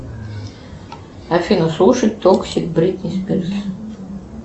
афина слушать токсик бритни спирс